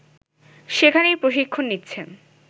সেখানেই প্রশিক্ষণ নিচ্ছেন